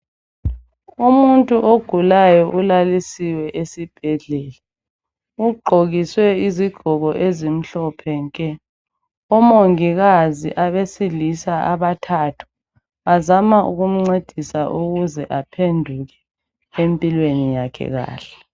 Umuntu ogulayo ulalisiwe esibhedlela. Ugqokiswe izigqoko ezimhlophe ke. Omongikazi abesilisa abathatha bazama ukumcedisa ukuze aphenduke empilweni yakhe kahle.